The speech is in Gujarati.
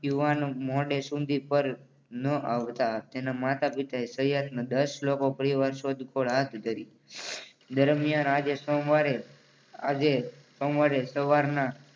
યુવાન મોડે સુધી પર ના આવતા તેના માતા પિતાએ સહિતના લોકો પરિવાર શોધ કોડ હાથ ધરી. દરમિયાન આજે સોમવારે આજે સોમવારે સવારના